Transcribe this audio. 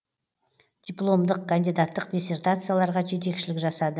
дипломдық кандидаттық диссертацияларға жетекшілік жасады